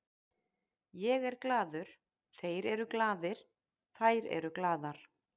Ég er glaður, þeir eru glaðir, þær eru glaðar.